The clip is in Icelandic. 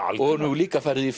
og hún hefur líka farið í